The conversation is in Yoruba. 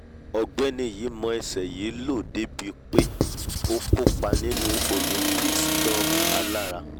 ọ̀gbẹ́ni yìí mọ ẹsẹ̀ yìí lò dé ibi pé ó kópa nínú olympics gan-an alára!